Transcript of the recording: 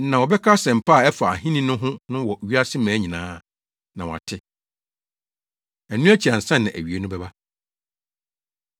Na wɔbɛka asɛmpa a ɛfa Ahenni no ho no wɔ wiase mmaa nyinaa, na wɔate. Ɛno akyi ansa na awiei no bɛba.” Ahohia A Ɛyɛ Hu